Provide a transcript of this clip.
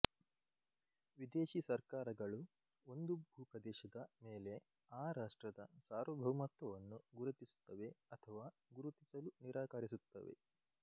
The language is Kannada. ವಿದೇಶಿ ಸರ್ಕಾರಗಳು ಒಂದು ಭೂಪ್ರದೇಶದ ಮೇಲೆ ಆ ರಾಷ್ಟ್ರದ ಸಾರ್ವಭೌಮತ್ವವನ್ನು ಗುರುತಿಸುತ್ತವೆ ಅಥವಾ ಗುರುತಿಸಲು ನಿರಾಕರಿಸುತ್ತವೆ